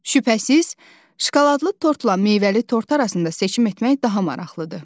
Şübhəsiz, şokoladlı tortla meyvəli tort arasında seçim etmək daha maraqlıdır.